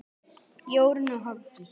Jórunn og Hafdís.